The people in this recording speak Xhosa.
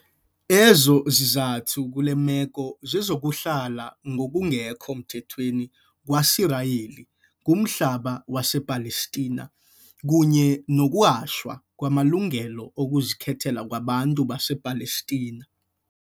Ezo zizathu kule meko zezokuhlala ngokungekho mthethweni kwaSirayeli kumhlaba wasePalestina, kunye nokunyashwa kwamalungelo okuzikhethela kwabantu basePalestina.